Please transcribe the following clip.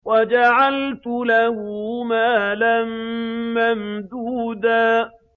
وَجَعَلْتُ لَهُ مَالًا مَّمْدُودًا